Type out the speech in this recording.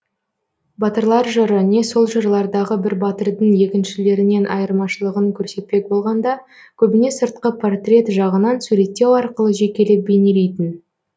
батырлар жыры не сол жырлардағы бір батырдың екіншілерінен айырмашылығын көрсетпек болғанда көбіне сыртқы портрет жағынан суреттеу арқылы жекелеп бейнелейтін